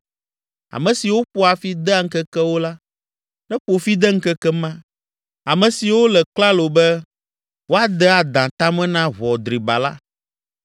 Ame siwo ƒoa fi dea ŋkekewo la, neƒo fi de ŋkeke ma, ame siwo le klalo be woade adã ta me na ʋɔ driba la.